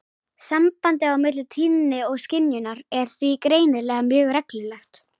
Sambandið á milli tíðni og skynjunar er því greinilega mjög reglulegt.